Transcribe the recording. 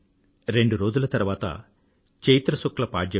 రెండు రోజుల తరువాత చైత్ర శుక్ల పాడ్యమి